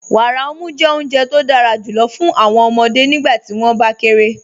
Wàárà ọ̀mù jẹ́ ọ̀Unje tó dára júlọ̀ fún awọn ọmọde nígbàtí wọn bá kéré.